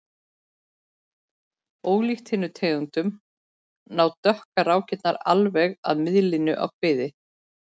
Ólíkt hinum tegundunum ná dökku rákirnar alveg að miðlínu á kviði.